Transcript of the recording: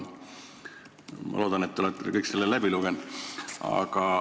Ma loodan, et te olete kõik selle läbi lugenud.